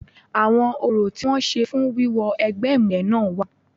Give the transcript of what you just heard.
Àwọn orò tí wọ́n ń ṣe fún wíwọ egbẹ́ ìmùlẹ̀ náà wà.